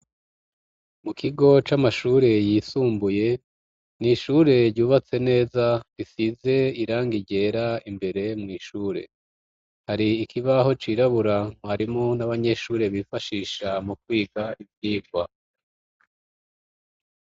Mu kigo c'amashure, yisumbuye, ni ishure ryubatse neza, risize irangi ryera, imbere mw'ishure; hari ikibaho cirabura, mwarimu n'abanyeshuri, bifashisha mu kwiga ivyigwa.